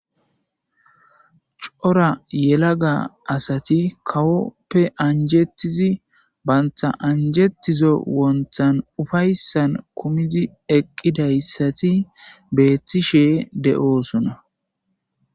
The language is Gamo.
Cora yelaga asati kawoppe anjettizi baynta anjettizo wonthan ufayssan kumidi eqqidayssati beethtishe de7oosuna.